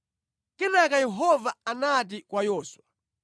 Kenaka Yehova anati kwa Yoswa,